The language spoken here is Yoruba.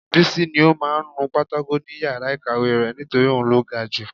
Bísí ní ó máa ń nu pátákò ni yàrá ìkàwé rẹ̀ nítorí òun ló ga ju